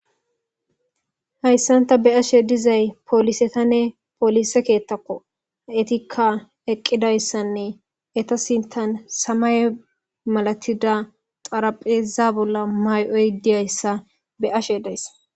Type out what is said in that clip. Hayisan ta be ashe dizay polisetanne poolise keettakko etikka eqqidayssanne etasintan samay malatida xarapheeza bolla mayoy diyayssa be ashe dayssa